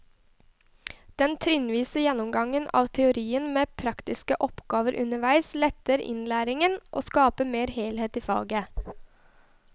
Den trinnvise gjennomgangen av teorien med praktiske oppgaver underveis letter innlæringen og skaper mer helhet i faget.